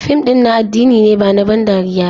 Fim ɗin na addini ne ba na ban dariya ba.